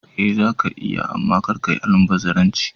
Eh zaka iya amma kar kayi almubazzaranci.